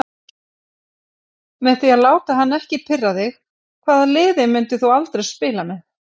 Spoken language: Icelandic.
Með því að láta hann ekki pirra þig Hvaða liði myndir þú aldrei spila með?